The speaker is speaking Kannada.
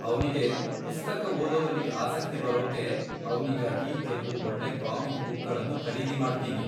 ಅವ್ನಿಗೆ ಪುಸ್ತಕ ಓದೋದ್ರಲ್ಲಿ ಆಸಕ್ತಿ ಬರೋಕ್ಕೆ ಅವ್ನಿಗಾಗಿ ಕೆಲ್ವು ಒಳ್ಳೆ ಕಾಮಿಕ್ ಬುಕ್ಗಳ್ನೂ ಖರೀದಿ ಮಾಡ್ತೀನಿ.